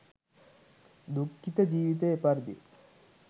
දුක්ඛිත ජීවිතය එපරිදිය.